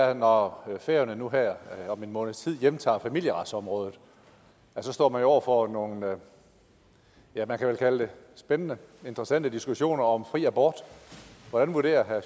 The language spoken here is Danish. er når færøerne nu her om en måneds tid hjemtager familieretsområdet står man jo over for nogle ja man kan vel kalde det spændende og interessante diskussioner om fri abort hvordan vurderer herre